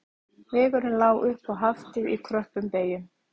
Vegurinn lá upp á Haftið í kröppum beyjum